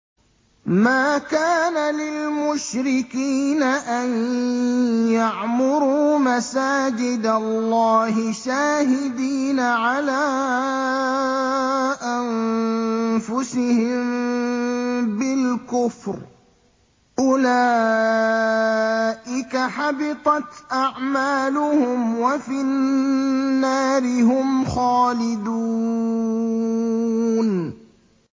مَا كَانَ لِلْمُشْرِكِينَ أَن يَعْمُرُوا مَسَاجِدَ اللَّهِ شَاهِدِينَ عَلَىٰ أَنفُسِهِم بِالْكُفْرِ ۚ أُولَٰئِكَ حَبِطَتْ أَعْمَالُهُمْ وَفِي النَّارِ هُمْ خَالِدُونَ